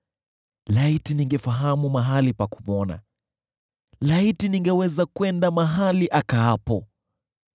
Laiti ningefahamu mahali pa kumwona; laiti ningeweza kwenda mahali akaapo!